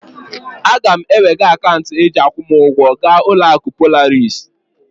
Aga m ewega akaunti e ji akwụ m ugwo ga uloaku Polaris